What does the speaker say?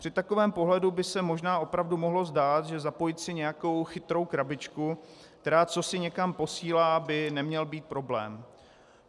Při takovém pohledu by se možná opravdu mohlo zdát, že zapojit si nějakou chytrou krabičku, která cosi někam posílá, by neměl být problém.